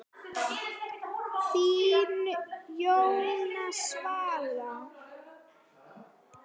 Þín Jóhanna Svala.